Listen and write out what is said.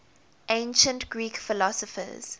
ancient greek philosophers